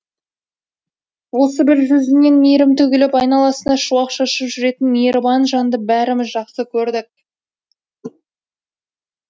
осы бір жүзінен мейірім төгіліп айналасына шуақ шашып жүретін мейірбан жанды бәріміз жақсы көрдік